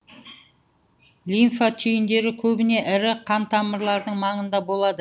лимфа түйіндері көбіне ірі қантамырлардың маңында болады